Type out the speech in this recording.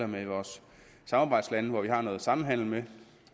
med vores samarbejdslande som vi har noget samhandel med og